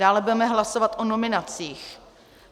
Dále budeme hlasovat o nominacích.